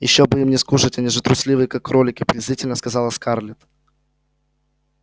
ещё бы им не скушать они же трусливые как кролики презрительно сказала скарлетт